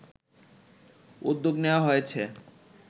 উদ্যোগ নেওয়া হয়েছে